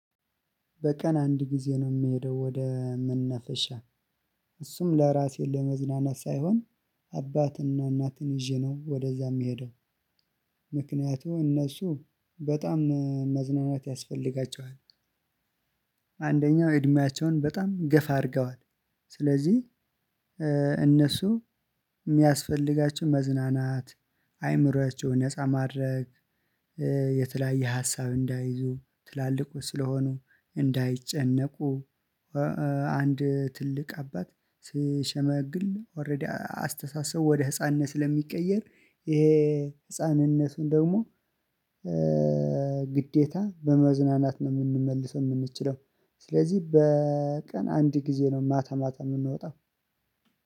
በቀን አንድ ጊዜ ነው የምሄደው ወደ መናፈሻ እሱም ለራሴ ለመዝናናት ሳይሆን አባትና እናትን ይዤ ነው ወደዛ የምሄደው። ምክንያቱም እነሱ በጣም መዝናናት ያስፈልጋቸዋል። አንደኛው እድሜያቸውን በጣም ገፋ አድርገዋል። ስለዚህ እነሱ የሚያስፈልጋቸው መዝናናት አይምሯቸውን ነፃ ማድረግ የተለያየ ሀሳብ እንዳይዙ ትላልቁ ስለሆኑ እንዳይጨነቁ። አንድ ትልቅ አባት ስሸመግል ኦሬዲ አስተሳሰቡ ወደ ህፃንነት ስለሚቀየር ይሄ ህፃንነቱን ደግሞ ግዴታ በመዝናናት ነው የምንመልሰው የምንችለው። ስለዚህ በቀን አንድ ጊዜ ነው ማታ ማታ የምንወጣው።